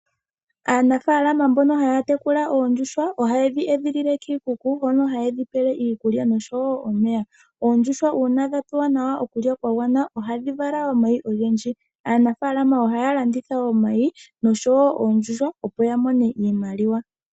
Aanafalama mbono haya tekula oondjuhwa ohaye dhi edhilile kiikuku hono hayedhi peleko iikulya osho woo omeya. Oondjuhwa ngele dhapewa okulya kwagwana ohadhi vala omayi ogendji. Aanafalama ohaya landitha omayi osho woo oondjuhwa opo yamone iimaliwa.